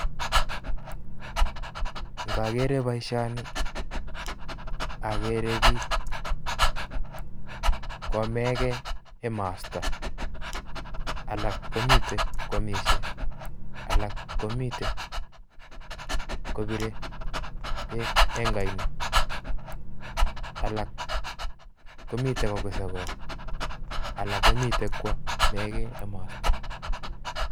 Ng'okere boishoni akeree biik kwomekee emosto alak komiten kwomishe alak komiten kobire beek eng' oino alak komiten kokuse kong alak komitekwomekei emosto.